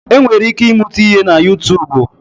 E nwere ike ị mụta ihe na Utuubu.